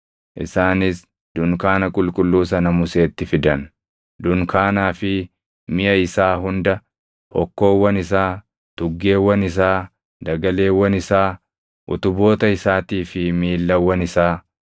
Isaanis dunkaana qulqulluu sana Museetti fidan: dunkaanaa fi miʼa isaa hunda, hokkoowwan isaa, tuggeewwan isaa, dagaleewwan isaa, utuboota isaatii fi miillawwan isaa;